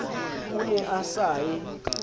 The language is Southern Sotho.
o ne a sa e